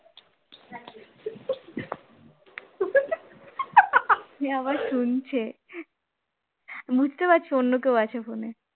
সে আবার শুনছে বুঝতে পারছে অন্য কেউ আছে phone এ